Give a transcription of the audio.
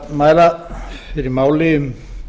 við mælum fyrir máli um